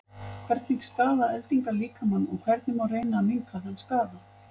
hvernig skaða eldingar líkamann og hvernig má reyna að minnka þann skaða